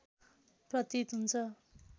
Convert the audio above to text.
प्रतीत हुन्छ